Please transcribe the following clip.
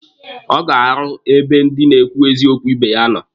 Ọ ga-arụ ebe ndị na-ekwu eziokwu ibe ya nọ.